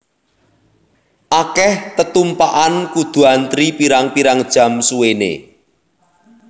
Akeh tetumpakan kudu antri pirang pirang jam suwene